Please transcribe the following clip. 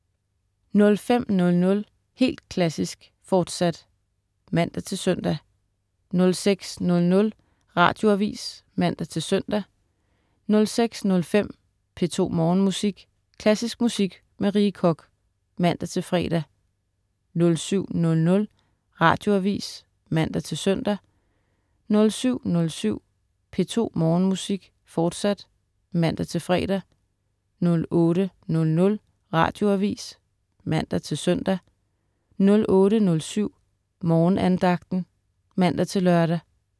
05.00 Helt Klassisk, fortsat (man-søn) 06.00 Radioavis (man-søn) 06.05 P2 Morgenmusik. Klassisk musik med Rie Koch (man-fre) 07.00 Radioavis (man-søn) 07.07 P2 Morgenmusik, fortsat (man-fre) 08.00 Radioavis (man-søn) 08.07 Morgenandagten (man-lør)